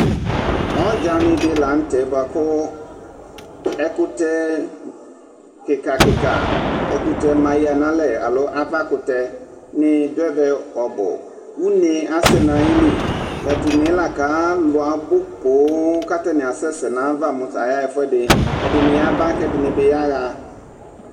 Ɔdzani di la nʋ tɛ bʋakʋ ɛkʋtɛ kikakika, ɛkʋtɛmayǝ nʋ alɛ alo avakʋtɛ nidu ɛvɛ ɔbʋ Une asɛ nʋ ayili Tatʋ une yɛ lakʋ alu abu poo, kʋ atani asɛsɛ nʋ ayava mu tayaɣa ɛfʋɛdɩ Ɛdɩnɩ yaba kʋ ɛdɩnɩ bɩ yaɣa